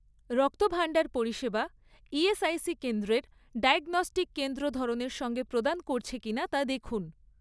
রক্তভাণ্ডার পরিষেবা ইএসআইসি কেন্দ্রের ডায়াগনস্টিক কেন্দ্র ধরনের সঙ্গে প্রদান করছে কিনা তা দেখুন